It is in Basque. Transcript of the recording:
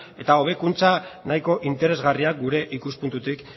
eta hobekuntza nahiko interesgarriak gure ikuspuntutik